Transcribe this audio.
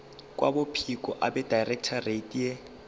kwabophiko abedirectorate ye